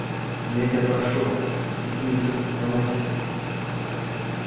но я тебя прошу ты с ними всё-таки помягче